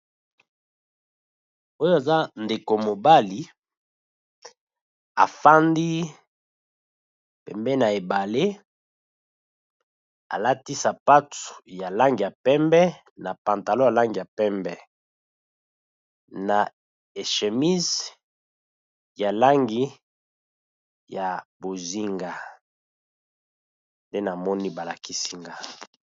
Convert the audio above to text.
Oyo aza ndeko mobali afandi pembeni ya ebale alati sapatu ya langi ya pembe na pantalon ya langi ya pembe, na e chemise ya langi ya bozinga nde na moni ba lakisi nga.